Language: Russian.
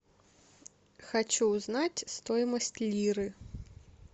хочу узнать стоимость лиры